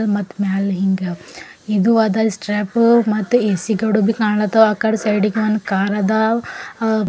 ಮತ್ತ ಮ್ಯಾಲ ಹಿಂಗ ಇದು ಅದಲ್ ಸ್ಟ್ರಾಪ್ ಮತ್ತ ಎ_ಸಿ ಗೋಡಬಿ ಕಾಣ್ಲಾತಾವ ಆಕಡಿ ಸೈಡಿ ಗ ಒಂದ ಕಾರ ಅದ ಅ --